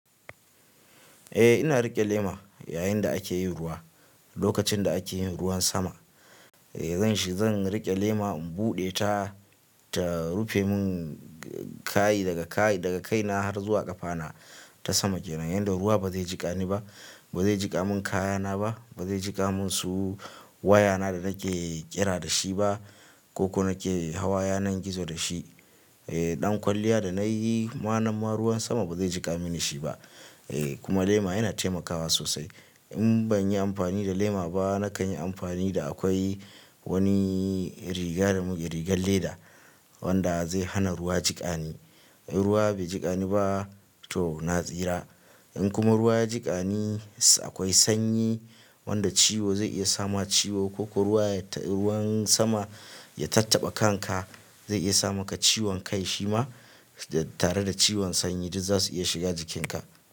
Eh ina riƙe lema yayin da ake yin ruwa, lokacin da ake yin ruwan sama. E zan shi zan riƙe lema in buɗe ta, ta rufe mun kaayi daga kaayi daga kai na har zuwa ƙafa na ta sama kenan. Yanda ruwa ba zai jiƙa ni ba, ba zai jiƙa mun kaya na ba, ba zai jiƙa mun su waya na da nake kira da shi ba ko nake hawa yanar gizo da shi. E ɗan kwalliya da nayi ma nan ma ruwan sama ba zai jiƙa mini shi ba. E kuma lema yana taimakawa sosai. In ban yi amfani da lema ba nakan yi amfani da akwai wani riga da muke rigar leda wanda zai hana ruwa jiƙa ni. In ruwa bai jiƙa ni ba to na tsira. In kuma ruwa ya jiƙa ni akwai sanyi wanda ciwo zai iya sama ciwo ko ruwa ya ta ruwan sama ya tattaɓa kanka zai iya samaka ciwon kai shima tare da ciwon sanyi duk za su iya shiga jikin ka.